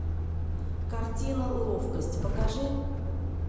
картина ловкость покажи